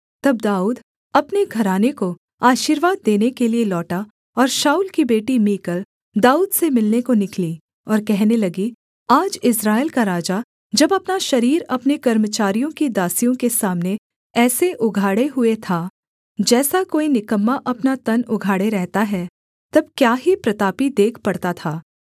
तब दाऊद अपने घराने को आशीर्वाद देने के लिये लौटा और शाऊल की बेटी मीकल दाऊद से मिलने को निकली और कहने लगी आज इस्राएल का राजा जब अपना शरीर अपने कर्मचारियों की दासियों के सामने ऐसा उघाड़े हुए था जैसा कोई निकम्मा अपना तन उघाड़े रहता है तब क्या ही प्रतापी देख पड़ता था